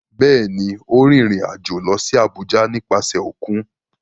Bẹ́ẹ̀ ni, ó rìnrìn-àjò lọ sí Àbújá nípasẹ̀ òkun.